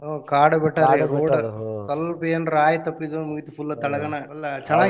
ಹ್ಮ್ ಕಾಡು ಬೆಟ್ಟರಿ ಅದ route ಸ್ವಲ್ಪ ಏನ್ರ ಆಯಾ ತಪ್ಪಿದ್ರು ಮುಗಿತ್ full ತಳಗನ .